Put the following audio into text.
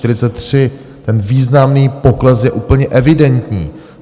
Ten významný pokles je úplně evidentní.